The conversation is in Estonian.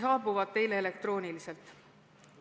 ... saabuvad teile elektrooniliselt.